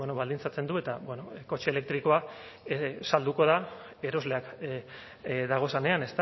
bueno baldintzatzen du eta bueno kotxe elektrikoa salduko da erosleak dagozenean